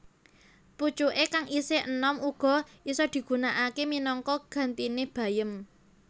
Pucuké kang isih enom uga isa digunakaké minangka gantiné bayem